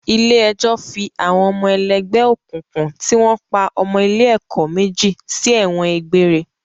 Ilé ẹjọ́ fi àwọn ọmọ ẹlẹ́gbẹ́ òkùnkùn tí wọ́n pa ọmọ ilé ẹ̀kọ́ méjì sí ẹ̀wọ̀n gbére